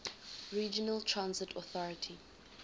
regional transit authority